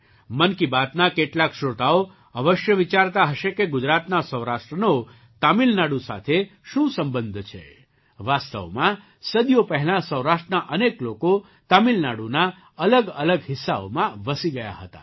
મન કી બાતના કેટલાક શ્રોતાઓ અવશ્ય વિચારતા હશે કે ગુજરાતના સૌરાષ્ટ્રનો તમિલનાડુ સાથે શું સંબંધ છે વાસ્તવમાં સદીઓ પહેલાં સૌરાષ્ટ્રના અનેક લોકો તમિલનાડુના અલગઅલગ હિસ્સાઓમાં વસી ગયા હતા